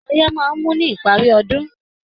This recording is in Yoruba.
Oyẹ́ máa n mú ní ìparí ọdún.